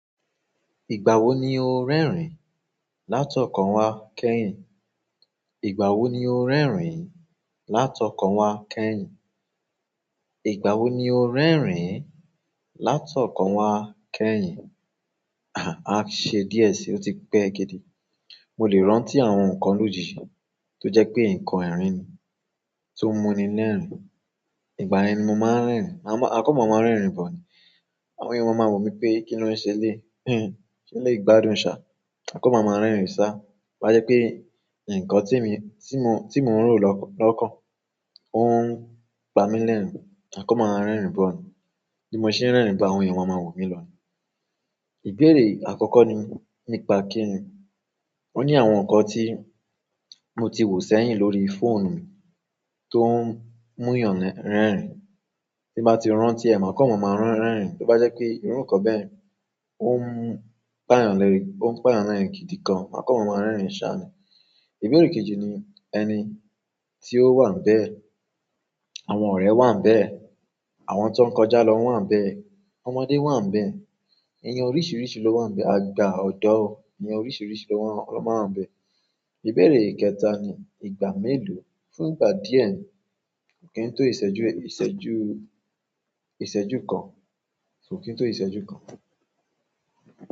Ìgbà wo ni o ń rẹ́rìn-ín? Látọ̀kọ̀ wá kẹ́yìn. Ìgbà wo ni o ń rẹ́rìn-ín? Látọ̀kọ̀ wá kẹ́yìn. Ìgbà wo ni o ń rẹ́rìn-ín? Látọ̀kọ̀ wá kẹ́yìn. A há ṣe díẹ̀ síi, o ti pẹ́ gidi. Mo lè rántí àwọn nǹkan lójijì tó jẹ́ pé nǹkan ẹ̀rín ni tó mú ni lẹ́rìn-ín. Ìgbà ẹni mo máa ń rẹ́rìn-ín, àkọ́ maa máa ń rẹ́rìn-ín bọ̀ ni. Àwọn èèyàn máa wò mí pé kín ló ṣe le, se le gbádùn ṣá, mà kọ́ maa máa ń rẹ́rìn-ín sá. Bí bá jẹ́ pé nǹkan tí mo, tí mo ń rò lọ́kọ̀, ó ń pa mí lẹ́rìn-ín, ma ko máa ń rẹ́rìn-ín bọ̀ ni. Bí mo ṣe ń rẹ́rìn-ín ba àwọn èèyàn, wọ́n máa wò mí lọ ni. Ìbéèrè àkọ́kọ́ ni nípa kí ni. O ní àwọn nǹkan tí mo ti wò sẹ́yìn lórí fóònù mi tó ń mú èèyàn rẹ́rìn-ín, tí bá ti rántí ẹ̀, ma ko maa máa ń rẹ́rìn-ín. To bá jẹ́ pé irú nǹkan bẹ́ẹ̀, ó ń pa èèyàn lẹ́rìn-ín, ó ń pa èèyàn rẹ́rìn-ín gidi gan, ma ko máa ń rẹ́rìn-ín ṣá ni. Ìbéèrè kejì ni ẹni tí ó wà níbẹ̀, àwọn ọ̀rẹ́ wà níbẹ̀, àwọn tó ń kọjá lọ wà níbẹ̀, ọmọdé wà níbẹ̀, ẹni oríṣiríṣi ló wà níbẹ̀, àgbà, ọ̀dọ́, ẹni oríṣiríṣi ló máa wà níbẹ̀. Ìbéèrè kẹta ni ìgbà mélòó, fún ìgbà díẹ̀ ni, kò kí n tó ìṣẹ́jú, ìṣẹ́jú, ìṣẹ́jú kan, ko kí n tó ìṣẹ́jú kan.